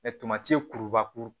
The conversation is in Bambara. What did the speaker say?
kurubakuru